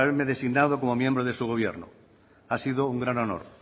haberme designado como miembro de su gobierno ha sido un gran honor